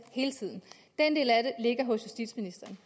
hele tiden den del af det ligger hos justitsministeren